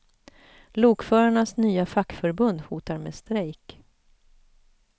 Lokförarnas nya fackförbund hotar med strejk.